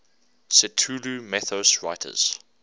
cthulhu mythos writers